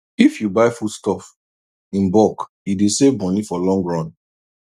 if you buy foodstuff in bulk e dey save money for long run